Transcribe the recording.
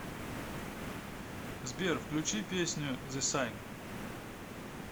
сбер включи песню зе сайн